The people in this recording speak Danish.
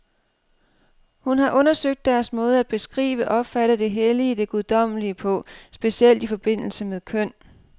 Hun har undersøgt deres måde at beskrive, opfatte det hellige, det guddommelige på, specielt i forbindelse med køn.